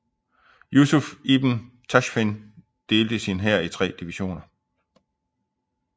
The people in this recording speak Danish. Yusuf ibn Tashfin delte sin hær i tre divisioner